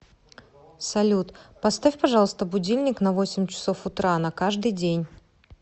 салют поставь пожалуйста будильник на восемь часов утра на каждый день